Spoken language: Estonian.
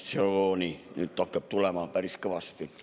Siin hakkab nüüd informatsiooni tulema päris kõvasti.